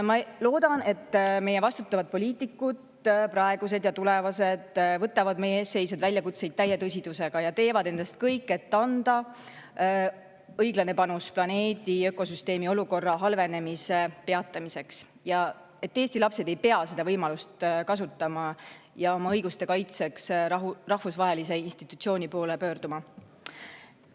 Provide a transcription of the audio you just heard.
Ma loodan, et meie vastutavad poliitikud, praegused ja tulevased, võtavad meie ees seisvaid väljakutseid täie tõsidusega ja teevad endast kõik, et anda panus planeedi ökosüsteemi olukorra halvenemise peatamiseks, ja et Eesti lapsed ei pea seda võimalust kasutama ja oma õiguste kaitseks rahvusvahelise institutsiooni poole pöörduma.